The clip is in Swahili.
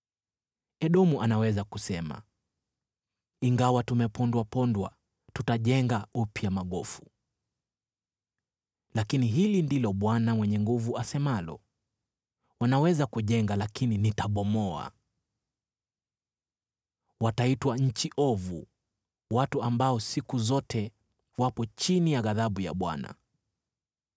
Edomu anaweza kusema, “Ingawa tumepondapondwa, tutajenga upya magofu.” Lakini hili ndilo Bwana Mwenye Nguvu Zote asemalo: “Wanaweza kujenga, lakini nitabomoa. Wataitwa Nchi Ovu, watu ambao siku zote wapo chini ya ghadhabu ya Bwana .